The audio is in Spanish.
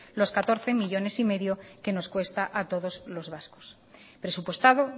los catorce coma cinco millónes que nos cuesta a todos los vascos presupuestado